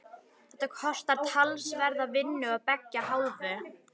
Þetta kostar talsverða vinnu af beggja hálfu.